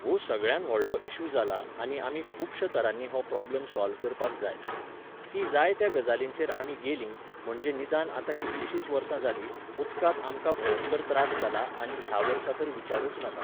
व्हो सगळ्यांत व्हडलो इशू जाला आनी आमी खूबश्यां तरांनी हो प्रॉब्लम सॉल्व करपाक जाय. ती जाय त्या गजालींचेर आमी गेलीं, म्हणजे निदान आतां कितलिशींच वर्सां जालीं, उदकाक आमकां भंयकर त्रास जाला आनी ह्या वर्सा तर विचारूंच नाका